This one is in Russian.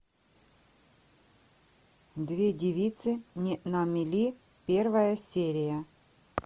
две девицы на мели первая серия